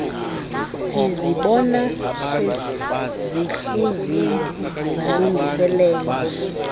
sizibona sezihluziwe zalungiseleelwa